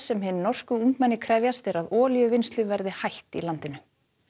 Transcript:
sem hin norsku ungmenni krefjast er að olíuvinnslu verði hætt í landinu